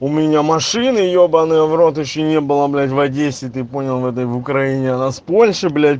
у меня машины ебанный в рот ещё не было блять в одессе ты понял на этой в украине она с польши